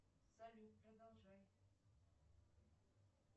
салют продолжай